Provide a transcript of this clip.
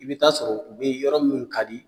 I bi t'a sɔrɔ u be yɔrɔ minnu ka di